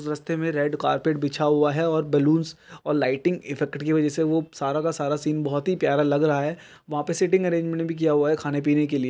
रास्ते में red carpet बिछा हुआ है और बलून और लाइटिंग इफेक्ट के वजह से सारा के सारा सीन बहुत ही प्यारा लग रहा है वहा पे सीटिंग आर्जिमेंट भी किया हुआ खाने पीने के लिए।